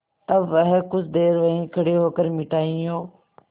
तब वह कुछ देर वहीं खड़े होकर मिठाइयों